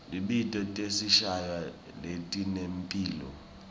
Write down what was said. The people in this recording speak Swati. tibhidvo tinetinswayi letinemphilo